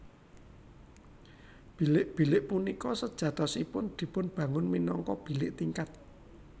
Bilik bilik punika sejatosipun dipun bangun minangka bilik tingkat